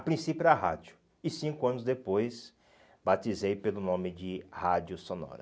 A princípio era a rádio e cinco anos depois batizei pelo nome de rádio sonora.